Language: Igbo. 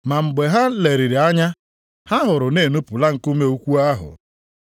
Ma mgbe ha leliri anya, ha hụrụ na e nupụla nkume ukwu ahụ.